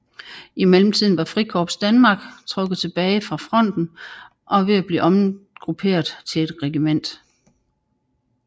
I mellemtiden var Frikorps Danmark trukket tilbage fra fronten og ved at blive omgrupperet til et regiment